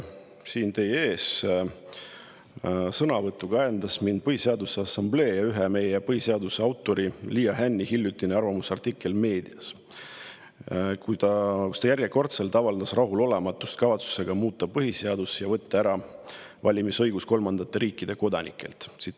Siin teie ees sõna võtma ajendas mind Põhiseaduse Assamblee liikme, meie põhiseaduse ühe autori Liia Hänni hiljutine arvamusartikkel meedias, kui ta järjekordselt avaldas rahulolematust kavatsuse üle muuta põhiseadust ja võtta kolmandate riikide kodanikelt ära valimisõigus.